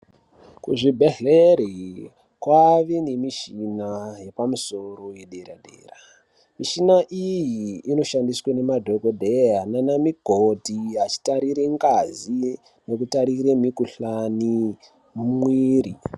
Kuzvibhedhlere kwave nemishina yepamusoro yedera-dera. Mishina iyi inoshandiswe nemadhogodheya nana mukoti achitarire ngazi nekutarire mikuhlani mumwiri.